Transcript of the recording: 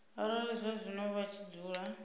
arali zwazwino vha tshi dzula